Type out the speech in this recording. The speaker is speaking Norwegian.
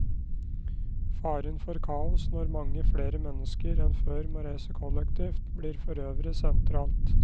Faren for kaos når mange flere mennesker enn før må reise kollektivt, blir forøvrig sentralt.